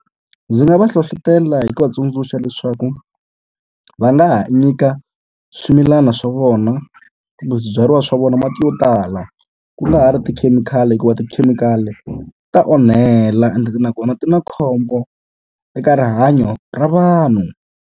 Ndzi nga va hlohlotela hi ku va tsundzuxa leswaku va nga ha nyika swimilana swa vona kumbe swibyariwa swa vona mati yo tala, ku nga ha ri tikhemikhali. Hikuva tikhemikhali ta onhela ende nakona ti na khombo eka rihanyo ra vanhu.